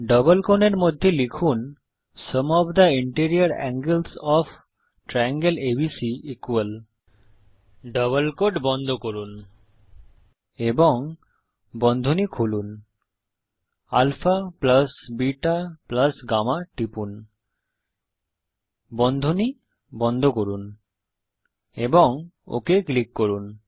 double কোণের মধ্যে লিখুন sum of the interior angles of triangle ABC double quote বন্ধ করুন এবং বন্ধনী খুলুন alpha বেতা গাম্মা টিপুন বন্ধনী বন্ধ করুন এবং ওক ক্লিক করুন